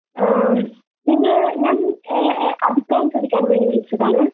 അഹ് നിങ്ങൾ ഞാൻ എഹ് അഭിപ്രായം ചോദിക്കാൻവേണ്ടി വിളിച്ചതാണ്.